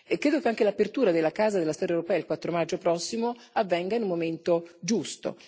Credo che anche l'apertura della Casa della storia europea, il 4 maggio prossimo, avvenga in un momento giusto.